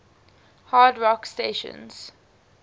hard rock stations